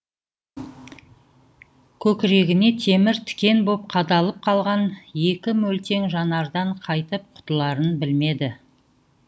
көкірегіне темір тікен боп қадалып қалған екі мөлтең жанардан қайтып құтыларын білмеді